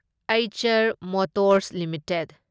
Eicher motors limited